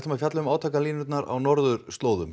fjöllum um átakalínur á norðurslóðum